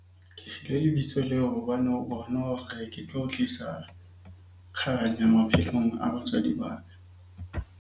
Ke filwe lebitso leo hobane hore ke tlo tlisa kganya maphelong a batswadi ba ka.